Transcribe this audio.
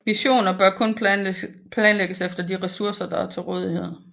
Missioner bør kun planlægges efter de ressourcer der er tilrådighed